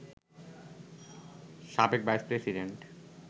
সাবেক vice president